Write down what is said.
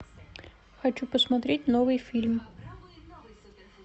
хочу посмотреть новый фильм